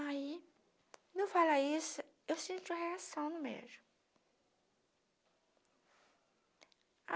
Aí, no falar isso, eu senti uma reação no mesmo.